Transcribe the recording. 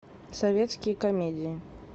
советские комедии